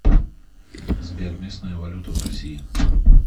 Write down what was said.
сбер местная валюта в россии